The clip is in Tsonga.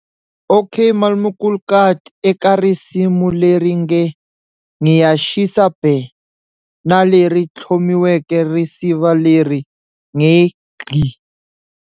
Okmalumkoolkat eka risimu leri nge"Ngiyashisa Bhe" na leri thlomiweke risiva leri nge,"Gqi".